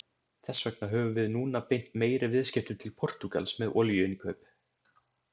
Þess vegna höfum við núna beint meiri viðskiptum til Portúgals með olíuinnkaup.